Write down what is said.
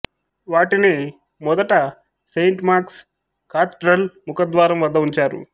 వాటిని మొదట Saint Mark's Cathedral ముఖద్వారం వద్ద ఉంచారు